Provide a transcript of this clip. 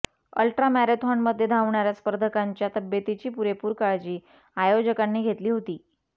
ultra मॅरेथॉनमध्ये धावणाऱ्या स्पर्धकांच्या तब्येतीची पुरेपूर काळजी आयोजकांनी घेतली होती